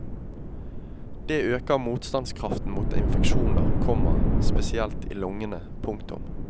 Det øker motstandskraften mot infeksjoner, komma spesielt i lungene. punktum